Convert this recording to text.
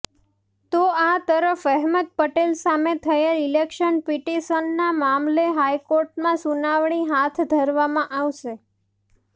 તો આ તરફ અહેમદ પટેલ સામે થયેલી ઈલેક્શન પિટીશનના મામલે હાઈકોર્ટમાં સુનાવણી હાથ ધરવામાં આવશે